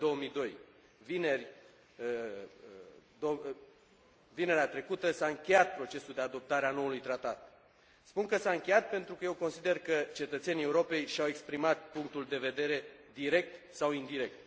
2002. Vineri, vinerea trecută, s a încheiat procesul de adoptare a noului tratat. Spun că s a încheiat, pentru că eu consider că cetățenii Europei și au exprimat punctul de vedere, direct sau indirect.